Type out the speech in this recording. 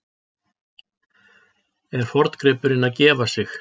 Er forngripurinn að gefa sig?